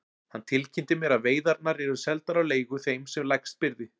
Hann tilkynnti mér að veiðarnar yrðu seldar á leigu þeim sem lægst byði.